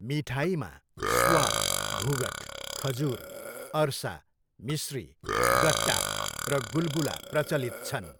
मिठाईमा स्वाल, घुघुट, खजुर, अरसा, मिश्री, गट्टा र गुलगुला प्रचलित छन्।